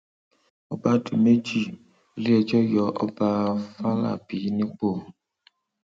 ọba di méjì ń um iléẹjọ yọ ọba fàlábì nípò